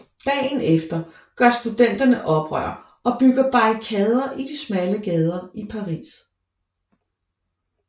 Dagen efter gør studenterne oprør og bygger barrikader i de smalle gader i Paris